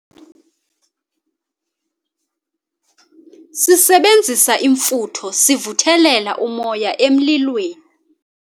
Sisebenzisa imfutho sivuthelela umoya emlilweni